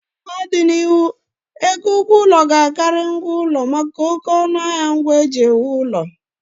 N'ọdịnihu, ego ụgwọ ụlọ ga-Akari ngwa ụlọ maka oké ọnụ ahịa ngwa e ji ewu ụlọ